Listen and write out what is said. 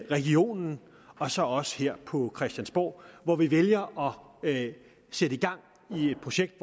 regionen og så os her på christiansborg hvor vi vælger at sætte gang i et projekt